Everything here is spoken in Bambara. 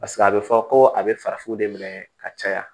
Paseke a bɛ fɔ ko a bɛ farafinw de minɛ ka caya